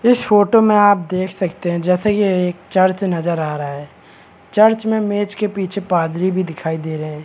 इस फोटो मे आप देख सकते है जैसे ये एक चर्च नजर आ रहा है चर्च में मेज के पीछे पादरी भी दिखाई दे रहे है ।